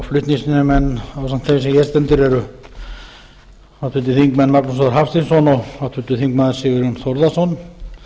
þeim sem hér stendur eru háttvirtir þingmenn magnús þór hafsteinsson og háttvirtur þingmaður sigurjón þórðarson